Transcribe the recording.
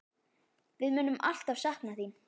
Við munum alltaf sakna þín.